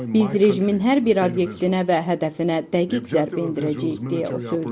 Biz rejimin hər bir obyektinə və hədəfinə dəqiq zərbə endirəcəyik deyə o söyləyib.